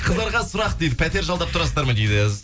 қыздарға сұрақ дейді пәтер жалдап тұрасыздар ма дейді